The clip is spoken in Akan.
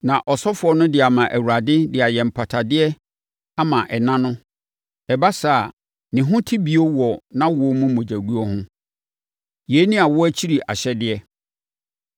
na ɔsɔfoɔ no de ama Awurade de ayɛ mpatadeɛ ama ɛna no; ɛba saa a, ne ho te bio wɔ nʼawoɔ mu mogyaguo ho. “Yei ne awoɔ akyi ahyɛdeɛ.